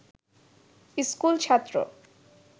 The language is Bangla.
স্কুল ছাত্র